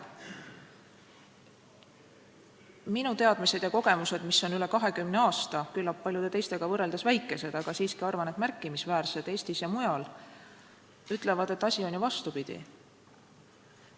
Minu teadmised ja kogemused, mida olen kogunud üle 20 aasta – need on küllap paljude teistega võrreldes väikesed, aga arvan siiski, et Eestis ja mujal märkimisväärsed –, ütlevad, et asi on ju vastupidi.